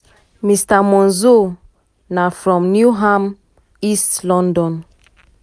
mr monzo na from newham east london.